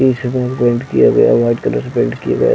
इसमें पेंट किया गया है वाइट कलर से पेंट किया गया है।